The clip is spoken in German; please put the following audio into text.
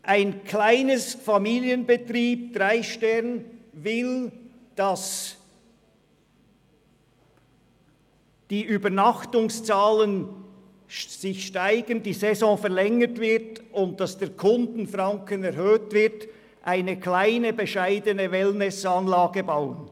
Ein kleiner Dreisterne-Familienbetrieb will zur Erhöhung der Übernachtungszahlen, der Verlängerung der Saison und der Erhöhung des Kundenfrankens eine kleine, bescheidene Wellnessanlage bauen.